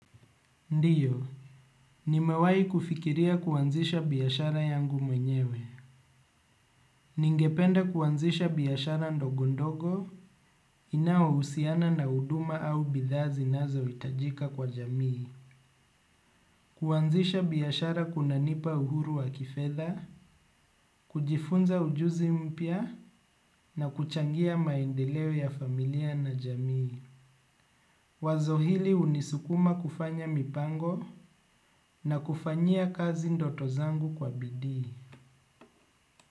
Ndio, nimewai kufikiria kuanzisha biashara yangu mwenyewe. Ningepende kuanzisha biashara ndogo ndogo, inaohusiana na huduma au bidha zinazo itajika kwa jamii. Kuanzisha biashara kuna nipa uhuru wa kifedha, kujifunza ujuzi mpya na kuchangia maendeleo ya familia na jamii. Wazo hili unisukuma kufanya mipango na kufanyia kazi ndoto zangu kwa bidi.